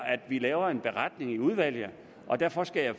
at vi laver en beretning i udvalget og derfor skal jeg